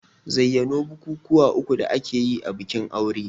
Zayyano bukukuwa uku da ake a bikin aure?